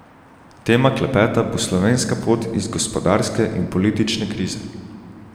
Tema klepeta bo slovenska pot iz gospodarske in politične krize.